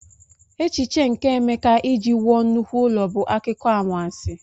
Echiche nke Emeka iji wuo nnukwu ụlọ bụ akụkọ anwansi..